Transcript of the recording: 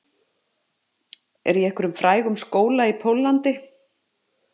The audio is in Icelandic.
Er í einhverjum frægum skóla í Póllandi